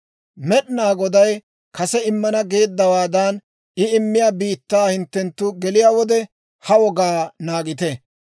Med'inaa Goday kase immana geeddawaadan I immiyaa biittaa hinttenttu geliyaa wode, ha wogaa naagite.